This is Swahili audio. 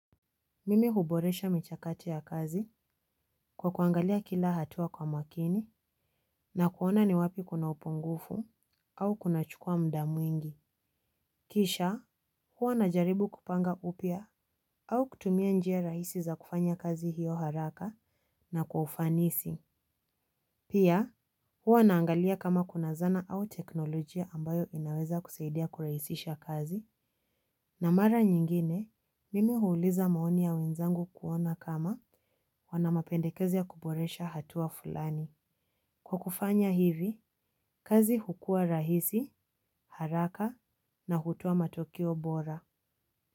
Mimi huboresha michakati ya kazi kwa kuangalia kila hatua kwa makini na kuona ni wapi kuna upungufu au kuna chukua mda mwingi. Kisha huwa na jaribu kupanga upya au kutumia njia rahisi za kufanya kazi hiyo haraka na kwa ufanisi. Pia huwa naangalia kama kuna zana au teknolojia ambayo inaweza kusaidia kurahisisha kazi. Na mara nyingine, mimi huuliza maoni ya wenzangu kuona kama wana mapendekezi ya kuboresha hatua fulani. Kwa kufanya hivi, kazi hukua rahisi, haraka na hutoa matokeo bora.